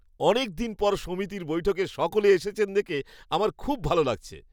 অনেকদিন পর সমিতির বৈঠকে সকলে এসেছেন দেখে আমার খুব ভালো লাগছে।